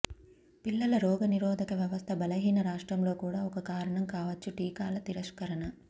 పిల్లల రోగనిరోధక వ్యవస్థ బలహీన రాష్ట్రంలో కూడా ఒక కారణం కావచ్చు టీకాల తిరస్కరణ